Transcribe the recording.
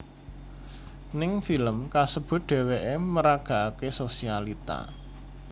Ning film kasebut dheweké meragakaké sosialita